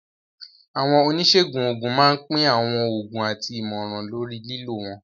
Àwọn oníṣègùn òògùn máa ń pín àwọn oògùn àti ìmọ̀ràn lórí lílò wọn.